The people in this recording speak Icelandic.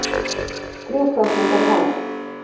Þrjú prósent er hámark